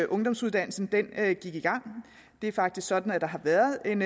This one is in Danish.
ungdomsuddannelsen gik i gang det er faktisk sådan at der har været en